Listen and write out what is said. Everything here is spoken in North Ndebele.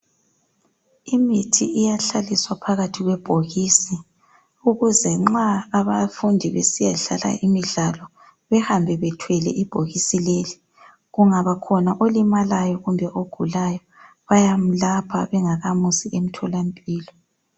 Imithi iyahlaliswa phakathi kwebhokisi, ukuze nxa abafundi besiya dlala imidlalo behambe bethwele ibhokisi leli. Kungaba khona olimalayo kumbe ogulayo bayamlapha bengamusi emthola mpilo.